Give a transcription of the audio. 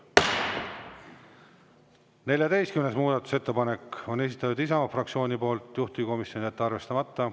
Ja 14. muudatusettepaneku on esitanud Isamaa fraktsioon, juhtivkomisjon: jätta arvestamata.